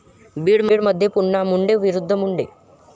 बीडमध्ये पुन्हा मुंडे विरूद्ध मुंडे